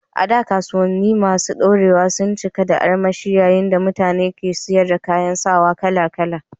A da, kasuwanni masu ɗorewa sun cika da armashi yayin da mutane ke siyar da kayan sawa kala-kala.